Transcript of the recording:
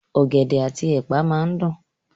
Ọ̀gẹ̀dẹ̀ àti ẹ̀pà máa dùn.